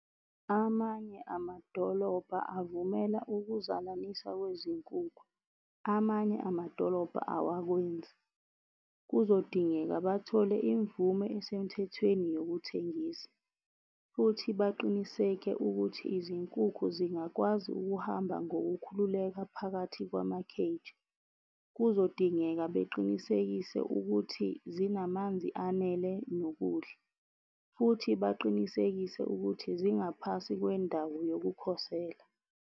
Amanye amadolobha avumela ukuzalanisa kwezinkukhu, amanye amadolobha awakwenzi. Kuzodingeka bathole imvume esemthethweni yokuthengisa, futhi baqiniseke ukuthi izinkukhu zingakwazi ukuhamba ngokukhululeka phakathi kwama-cage. Kuzodingeka beqinisekise ukuthi zinamanzi anele nokudla, futhi baqinisekise ukuthi zingaphasi kwendawo yokukhosela.